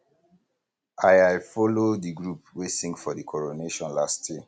i i folo di group wey sing for di coronation last year